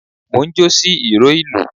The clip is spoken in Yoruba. Mo njó sí ìró ìlù